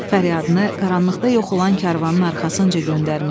Fəryadını qaranlıqda yox olan karvanın arxasınca göndərmişdi.